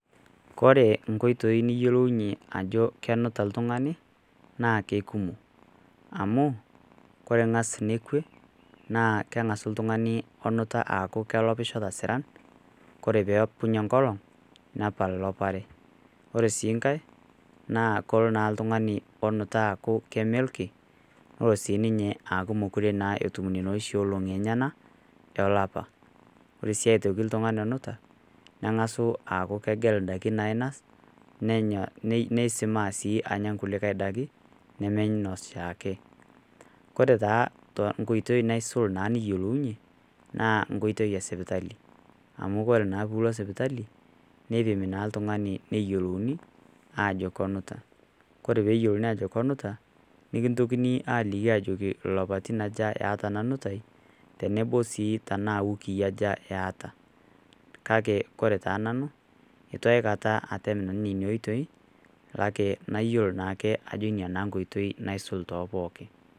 Kore inkoitoi niyolounye ajo kenuta oltung'ani, naake kumok, amu keng'asi nekwe, naa keng'asu oltung'ani onuta aaku kelopisho toosiran, Kore peapunye enkolong' neaku elopare. Ore sii nkai naa Kore naa oltung'ani onuta neaku keme ilkin neaku mekure naa sii ninye etum nena olong'i oshi enyena olapa. Ore sii aitoki oltung'ani onuta, neng'asu eaku kegel indaiki nainas, neisimaa sii anya kulikai daiki nemeinos ashiake . Kore taa tenkoitoi naisul nekiyolounye naa enkoitoi e sipitali, amu Kore naa pilo sipitali neipimi naa l'tungani neyioulouni aajo kenuta. Kore pee eyiolouni ajo kenuta nekintokini aliki ajo ilapaitin aja iata ena nutai tenebo sii tanaa iwukii aja eata. Kake Kore taa nanu, eitu aikata atem nanu nena oitoi kale nayiolo naake ajo nena inkoitoi naisul too pookin.